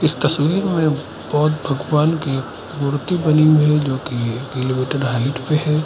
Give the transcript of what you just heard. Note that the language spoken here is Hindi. तस्वीर में बौद्ध भगवान की मूर्ति बनी हुई है। जो की एक किलोमीटर हाईट पर है।